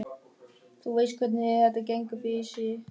Þú veist hvernig þetta gengur fyrir sig.